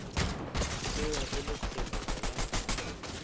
tšewa e le tshelo ya